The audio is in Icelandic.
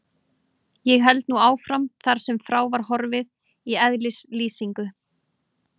Ég held nú áfram þar sem frá var horfið í eðlislýsingu